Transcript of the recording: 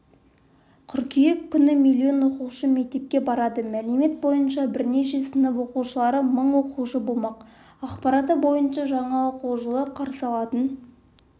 қыркүйек күні миллион оқушы мектепке барады мәлімет бойынша бірінші сынып оқушылары мың оқушы болмақ ақпараты бойынша жаңа оқу жылы қарсы алатын